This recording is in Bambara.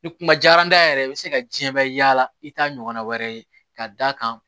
Ni kuma diyar'an ye yɛrɛ i bɛ se ka diɲɛ bɛɛ yaala i t'a ɲɔgɔnna wɛrɛ ye ka d'a kan